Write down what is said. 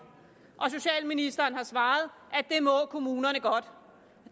og socialministeren har svaret at det må kommunerne godt